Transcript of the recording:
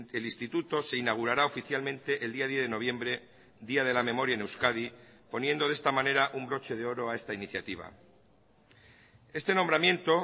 el instituto se inaugurará oficialmente el día diez de noviembre día de la memoria en euskadi poniendo de esta manera un broche de oro a esta iniciativa este nombramiento